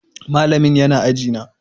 Malamin yana aji na.